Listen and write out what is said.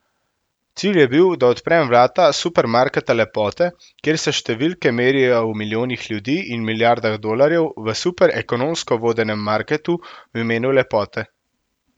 Cilj je bil, da odprem vrata Supermarketa lepote, kjer se številke merijo v milijonih ljudi in milijardah dolarjev v super ekonomsko vodenem marketu v imenu lepote.